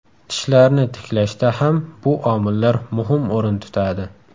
Tishlarni tiklashda ham bu omillar muhim o‘rin tutadi.